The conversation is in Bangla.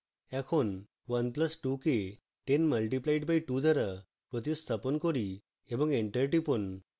এখন 1 plus 2 কে 10 multiplied by 2 দ্বারা প্রতিস্থাপন করি এবং enter টিপুন